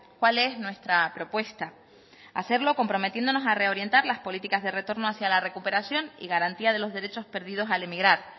cuál es nuestra propuesta hacerlo comprometiéndonos a reorientar las políticas de retorno hacia la recuperación y garantía de los derechos perdidos al emigrar